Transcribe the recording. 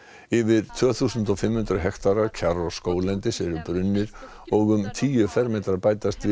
yfir tvö þúsund og fimm hundruð hektarar kjarr og skóglendis eru og um tíu fermetrar bætast við